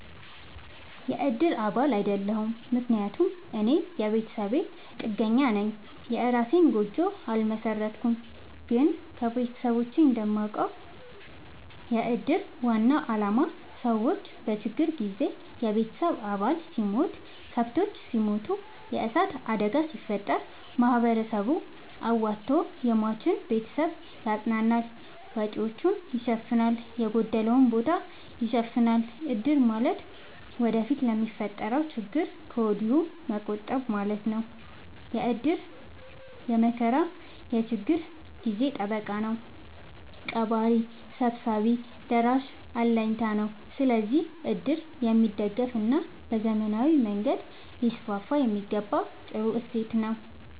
የእድር አባል አይደለሁም። ምክንያቱም እኔ የቤተሰብ ጥገኛነኝ የእራሴን ጎጆ አልመሠረትኩም። ግን ከቤተሰቦቼ እንደማውቀው። የእድር ዋናው አላማ ሰዎች በችግር ጊዜ የቤተሰብ አባል ሲሞት፤ ከብቶች ሲሞቱ፤ የዕሳት አደጋ ሲፈጠር፤ ማህበረሰቡ አዋቶ የሟችን ቤተሰብ ያፅናናል፤ ወጪወቹን ይሸፋናል፤ የጎደለውን ቦታ ይሸፋናል። እድር ማለት ወደፊት ለሚፈጠረው ችግር ከወዲሁ መቆጠብ ማለት ነው። እድር የመከራ የችግር ጊዜ ጠበቃ ነው። ቀባሪ ሰብሳቢ ደራሽ አለኝታ ነው። ስለዚህ እድር የሚደገፋና በዘመናዊ መንገድ ሊስስፋየሚገባው ጥሩ እሴት ነው።